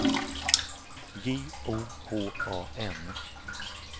J O H A N